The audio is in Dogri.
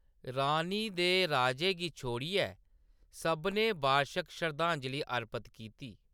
रानी दे राजे गी छोड़ियै, सभनें बार्शक शरधांजली अर्पत कीती।